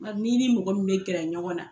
Nka n'i ni mɔgɔ min bɛ kɛra ɲɔgɔn na